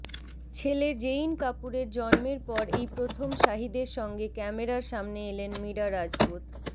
ছেলে জেইন কাপুরের জন্মের পর এই প্রথম শাহিদের সঙ্গে ক্যামেরার সামনে এলেন মীরা রাজপুত